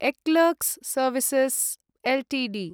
eClerx services Ltd